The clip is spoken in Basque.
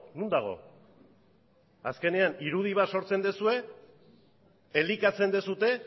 non dago azkenean irudi bat sortzen duzue elikatzen duzue